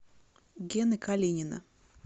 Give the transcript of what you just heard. гены калинина